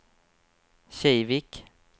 Kivik